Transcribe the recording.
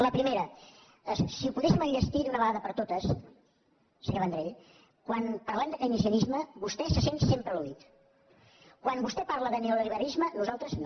la primera si ho poguéssim enllestir d’una vegada per totes senyor vendrell quan parlem de keynesianisme vostè se sent sempre al·vostè parla de neoliberalisme nosaltres no